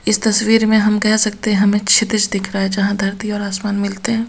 इस तस्वीर में हम कह सकते हैं हमें क्षितिज दिख रहा है यहां धरती और आसमान मिलते हैं पर --